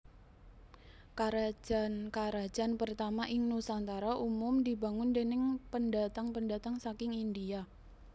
Karajan karajan pertama ing Nusantara umum dibangun déning pendatang pendatang saking India